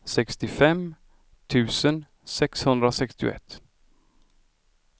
sextiofem tusen sexhundrasextioett